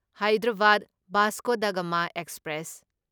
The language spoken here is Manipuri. ꯍꯥꯢꯗꯔꯥꯕꯥꯗ ꯚꯥꯁꯀꯣ ꯗ ꯒꯃꯥ ꯑꯦꯛꯁꯄ꯭ꯔꯦꯁ